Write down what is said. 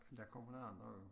Men der kommer nogen andre jo